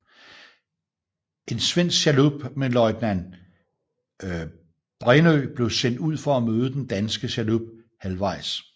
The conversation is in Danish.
En svensk chalup med løjtnant Brännö blev sendt ud for at møde den danske chalup halvvejs